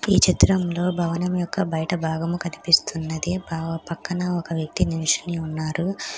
ఈ చిత్రంలో భవనం యొక్క బయట భాగము కనిపిస్తున్నది పక్కన ఒక వ్యక్తి నిల్చొని ఉన్నారు.